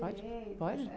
Pode, pode?